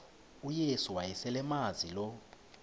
uyesu wayeselemazi lo